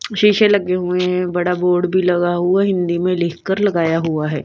शीशे लगे हुए हैं बड़ा बोर्ड भी लगा हुआ हिंदी में लिखकर लगाया हुआ है।